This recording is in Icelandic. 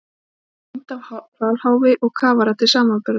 Hér sést mynd af hvalháfi og kafara til samanburðar.